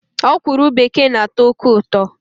Ọkwụrụ bekee na-atọ oké ụtọ